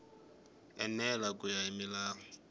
enela ku ya hi milawu